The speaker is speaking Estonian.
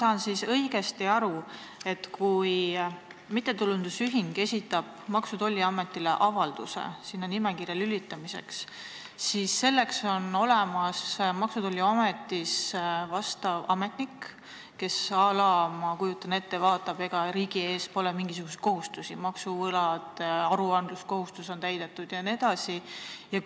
Kas ma saan õigesti aru, et kui mittetulundusühing esitab Maksu- ja Tolliametile avalduse, et ta sinna nimekirja lülitataks, siis on Maksu- ja Tolliametis olemas vastav ametnik, kes, ma kujutan nii ette, vaatab, ega riigi ees pole mingisuguseid kohustusi, maksuvõlgu, kas aruandluskohustus on täidetud jne?